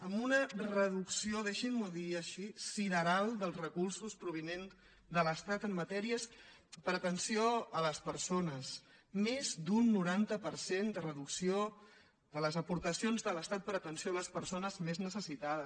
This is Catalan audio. amb una reducció deixin m’ho dir així sideral dels recursos provinents de l’estat en matèries per a atenció a les persones més d’un noranta per cent de reducció de les aportacions de l’estat per a atenció a les persones més necessitades